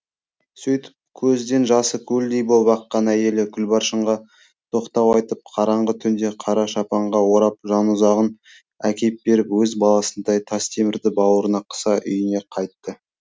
сөйтіп көзден жасы көлдей боп аққан әйелі күлбаршынға тоқтау айтып қараңғы түнде қара шапанға орап жанұзағын әкеп беріп өз баласындай тастемірді бауырына қыса үйіне қайтты